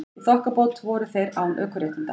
Í þokkabót voru þeir án ökuréttinda